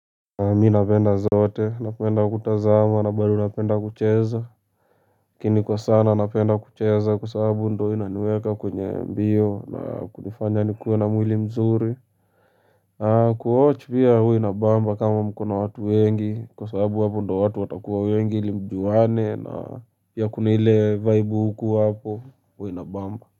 Mi napenda zote, napenda kutazama na bado napenda kucheza lakini kwa sana napenda kucheza kwa sababu ndio inaniweka kwenye mbio na kunifanya nikuwe na mwili mzuri kuwatch pia huwa inabamba kama mko na watu wengi, kwa sababu hapo ndio watu watakuwa wengi ili mjuane na pia kuna ile vibe hukuwa hapo huwa inabamba.